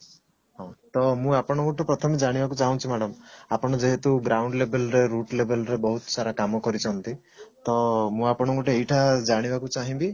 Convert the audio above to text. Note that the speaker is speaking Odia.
ହଉ ତ ମୁଁ ଆପଣଙ୍କଠୁ ପ୍ରଥମେ ଜାଣିବାକୁ ଚାହୁଁଛି madam ଆପଣ ଯେହେତୁ ground level ରେ root level ରେ ବହୁତ ସାରା କାମ କରିଛନ୍ତି ତ ମୁଁ ଆପଣଙ୍କ ଠୁ ଏଇଟା ଜାଣିବାକୁ ଚାହିଁବି